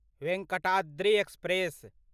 Venkatadri express